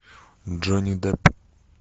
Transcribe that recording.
джонни депп